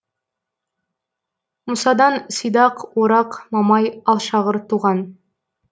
мұсадан сидақ орақ мамай алшағыр туған